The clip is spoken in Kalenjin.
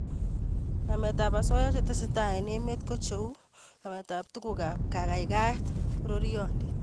Nametab osoya che tesetai eng emet ko cheu nametab tugukab kaikaikaet, pororiondit